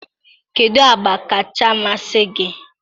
kedụ agba kacha amasị gị?